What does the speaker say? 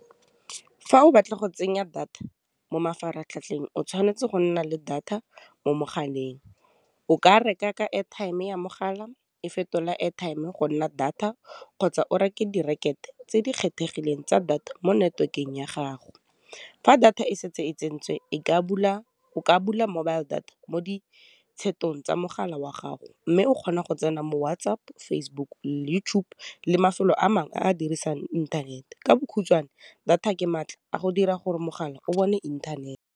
Fa o batla go tsenya data mo mafaratlhatlheng, o tshwanetse go nna le data mo mogaleng, o ka reka ka airtime ya mogala e fetola airtime go nna data, kgotsa o reke di tse di kgethegileng tsa data mo network-eng ya gago fa data e setse e tsentswe o ka bula mobile data mo ditshetong tsa mogala wa gago, mme o kgona go tsena mo WhatsApp, Facebook, YouTube le mafelo a mangwe a dirisang ithanete, ka bokhutshwane, data ke maatla a go dira gore mogala o bone inthanete.